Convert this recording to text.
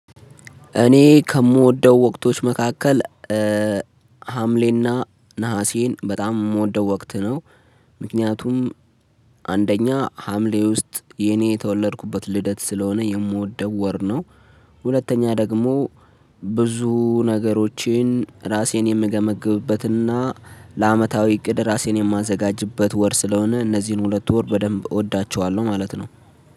እኔ ከምወደው ወቅቶች መካከል ሀምሌና ነሀሴን በጣም የምወደው ወቅት ነው። ምክንያቱም አንደኛ ሀምሌ ውስጥ የኔ የተወለድኩበት ልደት ስለሆነ የምወደው ወር ነው። ሁለተኛ ደግሞ ብዙ ነገሮችን ራሴን የምገመግብበትና ለአመታዊ እቅድ ራሴን የማዘጋጅበት ወር ስለሆነ እነዚህን ሁለት ወር በደንብ እወዳቸዋለሁ ማለት ነው